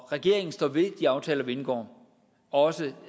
regeringen står ved de aftaler vi indgår også